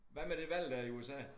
Hvad med de valg dér i USA